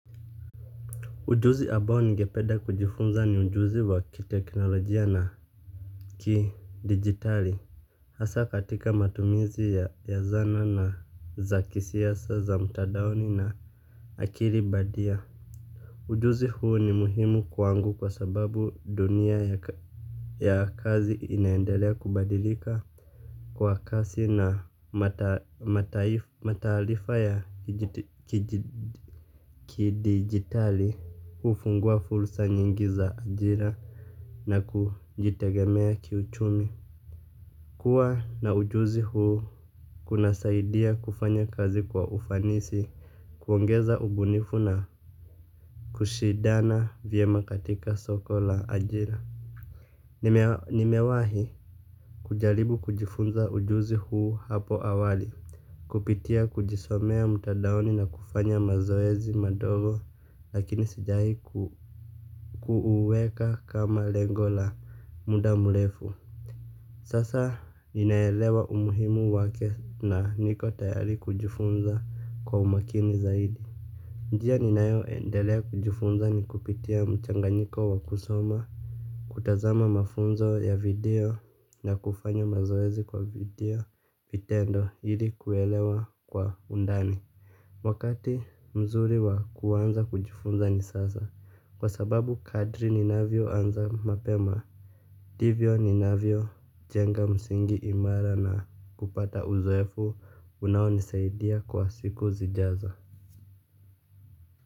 Ujuzi ambao ningependa kujifunza ni ujuzi wa kiteknolojia na kidijitali hasa katika matumizi ya zana na za kisasa za mtandaoni na akili bandia. Ujuzi huu ni muhimu kwangu kwa sababu dunia ya kazi inaendelea kubadilika kwa kasi na mataarifa ya kidijitali hufungua fursa nyingi za ajira na kujitegemea kiuchumi. Kua na ujuzi huu kunasaidia kufanya kazi kwa ufanisi. Kuongeza ubunifu na kushidana vyema katika soko la ajira. Nimewahi kujaribu kujifunza ujuzi huu hapo awali. Kupitia kujisomea mtandaoni na kufanya mazoezi madogo lakini sijawahi kuuweka kama lengo la muda mrefu. Sasa ninaelewa umuhimu wake na niko tayari kujifunza kwa umakini zaidi. Njia ninaeyoendelea kujifunza ni kupitia mchanganyiko wa kusoma kutazama mafunzo ya video na kufanya mazoezi kwa video, vitendo ili kuelewa kwa undani wakati mzuri wa kuanza kujifunza ni sasa kwa sababu kadri ninavyoanza mapema ndivyo ninavyojenga msingi imara na kupata uzoefu unaonisaidia kwa siku zijazo.